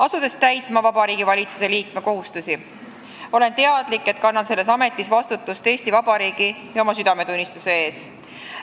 Asudes täitma Vabariigi Valitsuse liikme kohustusi, olen teadlik, et kannan selles ametis vastutust Eesti Vabariigi ja oma südametunnistuse ees.